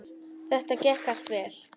Þetta gekk allt vel.